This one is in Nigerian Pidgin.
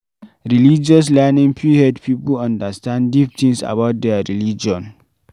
Religious learning fit help pipo understand deep things about their religion